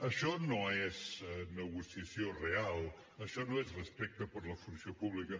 això no és negociació real això no és respecte per la funció pública